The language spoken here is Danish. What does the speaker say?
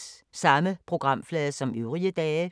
Samme programflade som øvrige dage